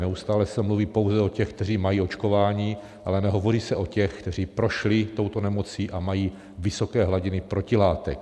Neustále se mluví pouze o těch, kteří mají očkování, ale nehovoří se o těch, kteří prošli touto nemocí a mají vysoké hladiny protilátek.